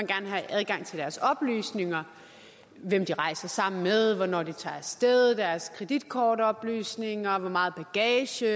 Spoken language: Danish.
gerne have adgang til deres oplysninger hvem de rejser sammen med hvornår de tager af sted deres kreditkortoplysninger hvor meget bagage